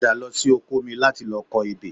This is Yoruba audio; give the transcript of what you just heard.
Padà lọ sí oko mi láti lọ kọ ebè